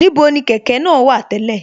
Níbo ni kẹ̀kẹ́ náà wà tẹ́lẹ̀